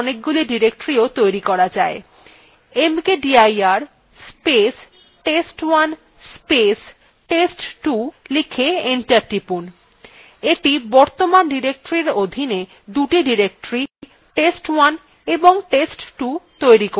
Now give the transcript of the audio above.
mkdir space test1 space test2 লিখে enter টিপুন এইটি বর্তমান ডিরেক্টরীর অধীনে দুটি directory test1 এবং test2 তৈরি করবে